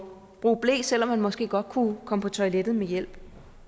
bruge ble selv om man måske godt kunne komme på toilettet med hjælp